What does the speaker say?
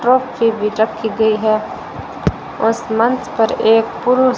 trophy भी रखी गई है उस मंच पर एक पुरुष--